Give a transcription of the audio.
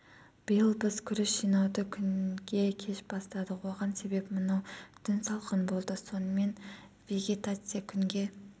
биыл біз күріш жинауды күнге кеш бастадық оған себеп мынау түн салқын болды сонымен вегетация күнге